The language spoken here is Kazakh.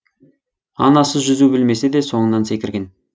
анасы жүзу білмесе де соңынан секірген